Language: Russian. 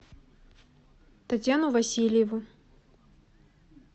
татьяну васильеву